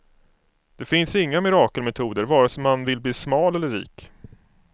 Det finns inga mirakelmetoder, vare sig man vill bli smal eller rik.